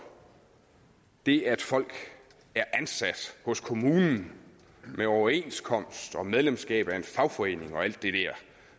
det at folk er ansat hos kommunen med overenskomst og medlemskab af en fagforening og alt det der